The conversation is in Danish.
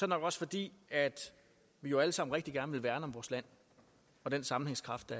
nok også fordi vi jo alle sammen rigtig gerne vil værne om vores land og den sammenhængskraft